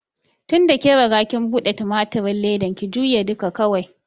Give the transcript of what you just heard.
Tinda kin riga kin buɗe tumatirin ledan, ki jure duka kawai!